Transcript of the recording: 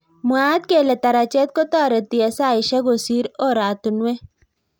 Mwaat kele tarajet kotareti eng saishek kosir oratunwek.